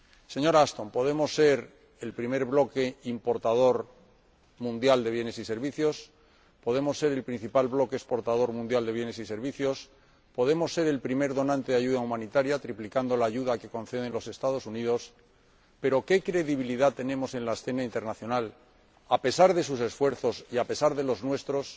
Señora Ashton, podemos ser el primer bloque importador mundial de bienes y servicios, podemos ser el principal bloque exportador mundial de bienes y servicios, podemos ser el primer donante de ayuda humanitaria, triplicando la ayuda que conceden los Estados Unidos, pero ¿qué credibilidad tenemos en la escena internacional, a pesar de sus esfuerzos y a pesar de los nuestros,